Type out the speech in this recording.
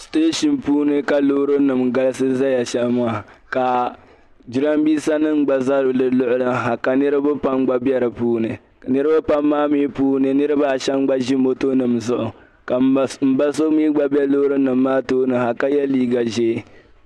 Station puuni ka loori nima galisi ʒɛya shɛm maa ka jiranbiisa nima gba ʒɛ di luɣuli ha ka niraba pam gba bɛ di puuni niraba pam maa mii puuni niraba ashɛm nʒi moto nim zuɣu ka n ba so mii gba bɛ loori noma maa tooni ha ka yɛ liiga ʒiʋ